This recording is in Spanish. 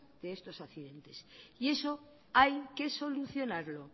de esos accidentes y eso hay que solucionarlo